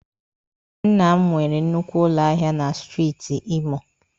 Nna m nwere nnukwu ụlọ ahịa na Steeti Imo